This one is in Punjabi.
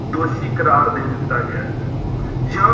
ਦੋਸ਼ੀ ਕਰਾਰ ਦੇ ਦਿੱਤਾ ਗਿਆ ਹੈ ਜਾਂ